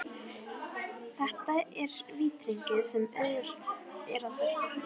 Þetta er vítahringur sem auðvelt er að festast í.